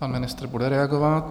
Pan ministr bude reagovat.